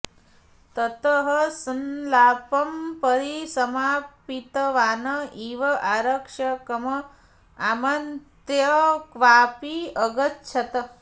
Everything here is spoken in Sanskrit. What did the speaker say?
ततः संलापं परिसमापितवान् इव आरक्षकम् आमन्त्र्य क्वापि अगच्छत्